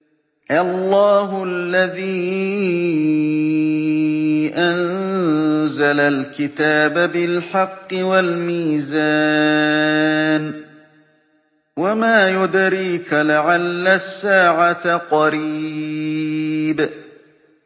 اللَّهُ الَّذِي أَنزَلَ الْكِتَابَ بِالْحَقِّ وَالْمِيزَانَ ۗ وَمَا يُدْرِيكَ لَعَلَّ السَّاعَةَ قَرِيبٌ